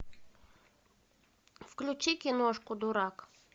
включи киношку дурак